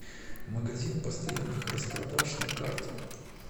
магазин постоянных распродаж на карте